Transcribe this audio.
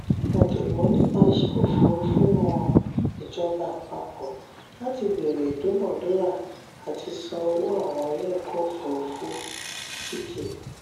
ọ̀jọ̀gbọ́n nípa ìṣe òfurufú rọ ìjọba àpapọ̀ láti bẹ̀rẹ̀ ìduna-dúra àti san owó àwọn ilé ọ̀kọ̀ òfurufú tk